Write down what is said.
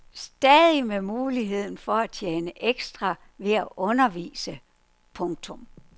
Stadig med muligheden for at tjene ekstra ved at undervise. punktum